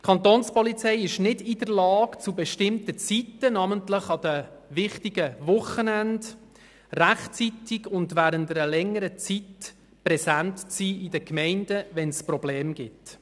Die Kantonspolizei ist nicht in der Lage, zu bestimmten Zeiten, namentlich an den wichtigen Wochenenden, rechtzeitig und während längerer Zeit in den Gemeinden präsent zu sein, wenn es Probleme gibt.